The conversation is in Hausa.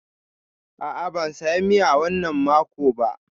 A'a, ban saya miya wannan mako ba.